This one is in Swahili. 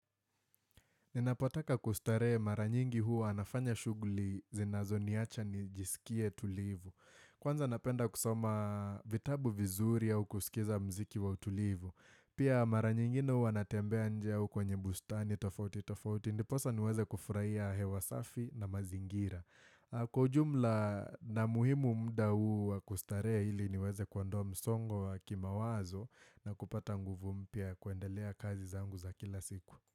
Ninapotaka kustare mara nyingi huwa nafanya shuguli zinazo niacha nijisikie tulivu. Kwanza napenda kusoma vitabu vizuri au kusikiza mziki wa utulivu. Pia maranyingine hua natembea nje au kwenye bustani tofauti tofauti. Ndiposa niweze kufurahia hewa safi na mazingira. Kwa ujumla na muhimu mda huu kustare hili niweze kuondoa msongo wa kimawazo na kupata nguvu mpya ya kuendelea kazi zangu za kila siku.